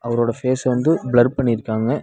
அவரோட ஃபேச வந்து பிளர் பண்ணிருக்காங்க.